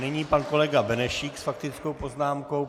Nyní pan kolega Benešík s faktickou poznámkou.